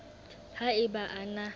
ha e ba a na